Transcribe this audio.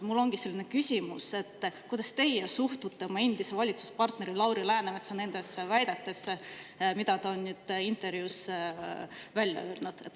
Mul ongi selline küsimus, kuidas teie suhtute oma endise valitsuspartneri Lauri Läänemetsa nendesse väidetesse, mida ta on intervjuus öelnud.